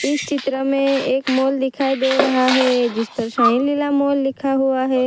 इस चित्र में एक मोल दिखाई दे रहा है जिस पर साइ लीला मॉल लिखा हुआ हैं।